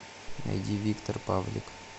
найди виктор павлик